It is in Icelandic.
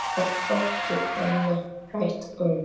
Það þótti henni vænt um.